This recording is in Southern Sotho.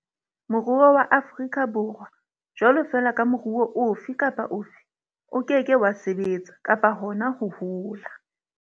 Moruo wa Afri ka Borwa, jwalo fela ka moruo ofe kapa ofe, o ke ke wa sebetsa, kapa hona ho hola.